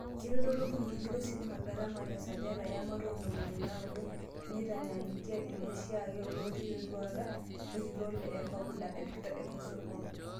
Kitadou iltukituki lo sitima gharama tesajati ematua oontomoni naaudo teinitanyanyukia ilooshiake lootii, teduaata olkitok le Ecobodaa Victor Kimosop.